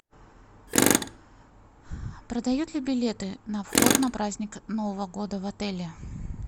продают ли билеты на вход на праздник нового года в отеле